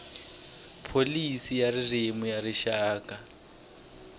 pholisi ya ririmi ya rixaka